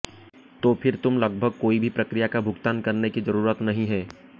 तो फिर तुम लगभग कोई भी प्रक्रिया का भुगतान करने की जरूरत नहीं है